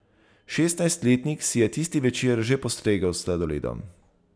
Šestnajstletnik si je tisti večer že postregel s sladoledom.